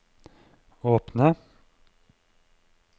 åpne